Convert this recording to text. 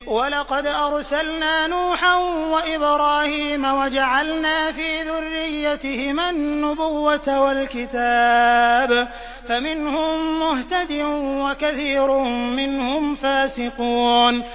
وَلَقَدْ أَرْسَلْنَا نُوحًا وَإِبْرَاهِيمَ وَجَعَلْنَا فِي ذُرِّيَّتِهِمَا النُّبُوَّةَ وَالْكِتَابَ ۖ فَمِنْهُم مُّهْتَدٍ ۖ وَكَثِيرٌ مِّنْهُمْ فَاسِقُونَ